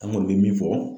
An kɔni bɛ min fɔ